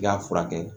I k'a furakɛ